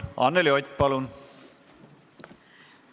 Anneli Ott, palun!